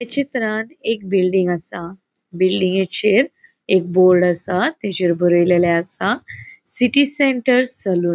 ये चित्रांन एक बिल्डिंग असा. बिल्डिंगेचेर एक बोर्ड असा. तेचेर बरेलेले असा सिटी सेंटर सलून .